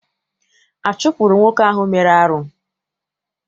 A chụpụrụ nwoke ahụ mere arụ?